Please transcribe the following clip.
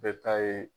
Bɛɛ ta ye